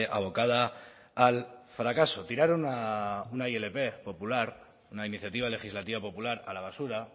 abocada al fracaso tiraron una ilp popular una iniciativa legislativa popular a la basura